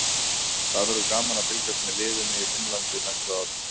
Það verður gaman að fylgjast með liðinu í Finnlandi á næsta ári.